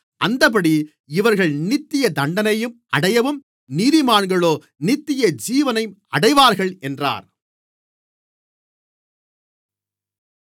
அந்தப்படி இவர்கள் நித்திய தண்டனையை அடையவும் நீதிமான்களோ நித்தியஜீவனை அடைவார்கள் என்றார்